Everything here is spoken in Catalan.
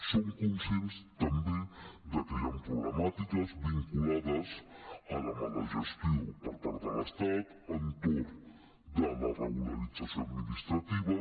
som conscients també de que hi han problemàtiques vinculades a la mala gestió per part de l’estat entorn de la regularització administrativa